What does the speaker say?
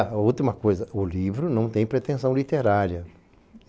E a última coisa, o livro não tem pretensão literária.